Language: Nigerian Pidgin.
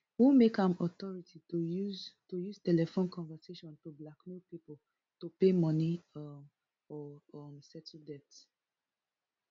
who make am authority to use to use telephone conversation to blackmail pipo to pay money um or um settle debt